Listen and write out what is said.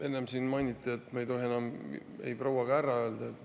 Enne siin mainiti, et me ei tohi enam öelda ei "proua" ega "härra".